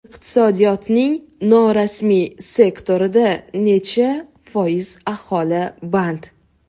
Iqtisodiyotning norasmiy sektorida necha foiz aholi band?